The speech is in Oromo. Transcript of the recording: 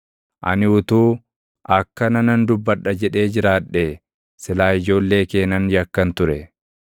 Ani utuu, “Akkana nan dubbadha” jedhee jiraadhee silaa ijoollee kee nan yakkan ture.